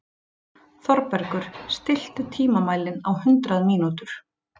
Þorbergur, stilltu tímamælinn á hundrað mínútur.